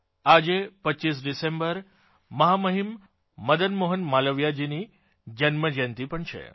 આજે 25 ડિસેમ્બર મહામહીમ મદન મોહન માલવીયજી ની જન્મજયંતી પણ છે